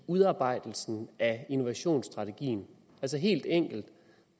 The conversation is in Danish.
udarbejdelsen af innovationsstrategien altså helt enkelt